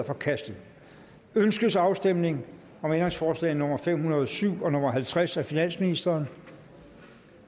forkastet ønskes afstemning om ændringsforslag nummer fem hundrede og syv og halvtreds af finansministeren